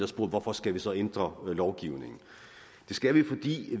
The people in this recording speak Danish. spurgt hvorfor skal vi så ændre lovgivningen det skal vi